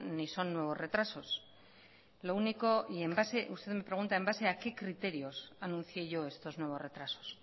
ni son nuevos retrasos lo único usted me pregunta en base a qué criterios anuncié yo estos nuevos retrasos